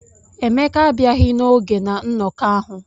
Emeka abịaghị n'oge na nnọkọ ahụ.